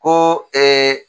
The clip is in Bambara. Ko ee